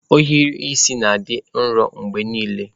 Ohiri isi na-adị nro mgbe niile.